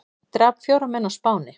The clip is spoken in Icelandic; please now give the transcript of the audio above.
Drap fjóra menn á Spáni